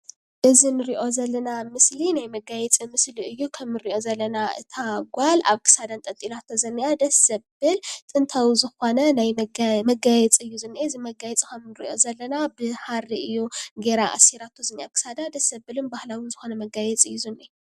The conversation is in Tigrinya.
እዚ ንርኦ ዘለና ምስሊ ናይ መጋየፂ ምስሊ እዩ። ከም ንርኦ ዘለና እታ ጋል ኣብ ክሳዳ ኣንጥልጥላቶ ዝንሃ ደስ ዘብል ጥንታዊ ዝኮነ ናይ መጋየፂ እዩ ዝነህ። እዚ መጋየፂ ካብ ንርኦ ዘለና ብሃሪ ጌራ ኣስራቶ ዝኒሃ ። ኣብ ክሳዳ ደስ ዝብል ባህላዊ ዝኮነ መጋየፂ እዩ ዝንሂ።